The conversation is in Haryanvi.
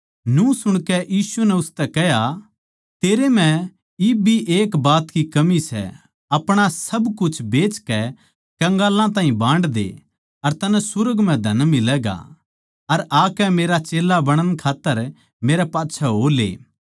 न्यू सुणकै यीशु नै उसतै कह्या तेरै म्ह इब भी एक बात की कमी सै अपणा सारा कुछ बेचकै कंगालां ताहीं बांड दे अर तन्नै सुर्ग म्ह धन मिलैगा अर आकै मेरा चेल्ला बणण खात्तर मेरै पाच्छै हो ले